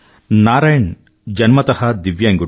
నారాయణ్ జన్మత దివ్యాంగుడు